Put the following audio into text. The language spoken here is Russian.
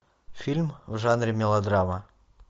фильм в жанре мелодрама